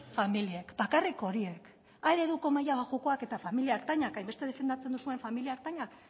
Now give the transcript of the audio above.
familiek bakarrik horiek a ereduko maila baxukoek eta familia ertainek hainbeste defendatzen dituzuen familia ertainek